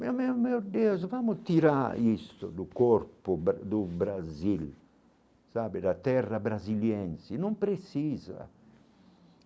Meu meu meu Deus, vamos tirar isso do corpo bra do Brasil, sabe da terra brasiliense, não precisa.